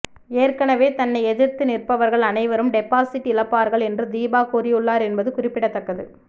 ஏற்கனவே தன்னை எதிர்த்து நிற்பவர்கள் அனைவரும் டெபாசிட் இழப்பார்கள் என்று தீபா கூறியுள்ளார் என்பது குறிப்பிடத்தக்கது